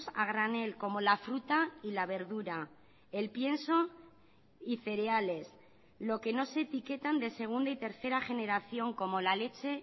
a granel como la fruta y la verdura el pienso y cereales lo que no se etiquetan de segunda y tercera generación como la leche